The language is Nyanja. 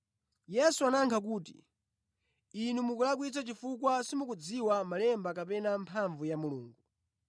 Yesu anayankha kuti, “Inu mukulakwitsa chifukwa simukudziwa malemba kapena mphamvu ya Mulungu.